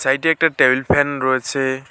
সাইটে একটা table fan রয়েছে।